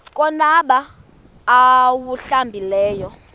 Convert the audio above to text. konwaba xa awuhlambileyo